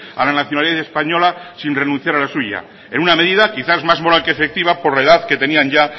a la nacionalidad española sin renunciar a la suya en una medida quizás más moral que efectiva por la edad que tenían ya